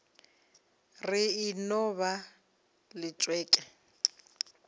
re e no ba letšeke